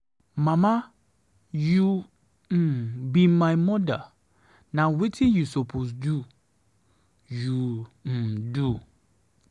Mama you um be my mother, na wetin you suppose do, you um do.